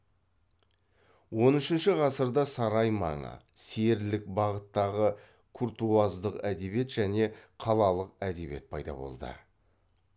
он үшінші ғасырда сарай маңы серілік бағыттағы куртуаздық әдебиет және қалалық әдебиет пайда болды